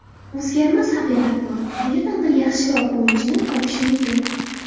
O‘zgarmas haqiqat bor: qayerdandir yaxshiroq o‘yinchini topish mumkin.